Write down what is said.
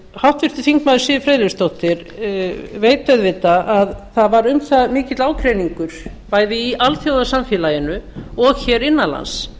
háttvirtur þingmaður siv friðleifsdóttir veit auðvitað að það var um það mikill ágreiningur bæði í alþjóðasamfélaginu og hér innan lands